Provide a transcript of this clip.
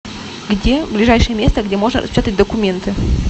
где ближайшее место где можно распечатать документы